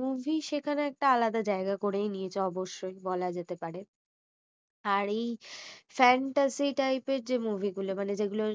movie সেখানে একটা আলাদা জায়গা করেই নিয়েছে অবশ্যই বলা যেতে পারে আর এই fantacy type এর যে movie গুলো মানে যে গুলো